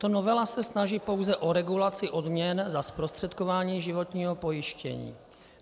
Tato novela se snaží pouze o regulaci odměn za zprostředkování životního pojištění.